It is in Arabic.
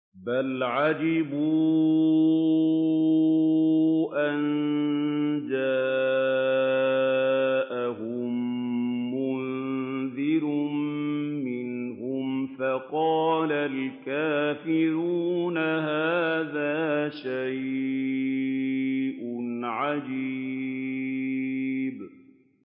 بَلْ عَجِبُوا أَن جَاءَهُم مُّنذِرٌ مِّنْهُمْ فَقَالَ الْكَافِرُونَ هَٰذَا شَيْءٌ عَجِيبٌ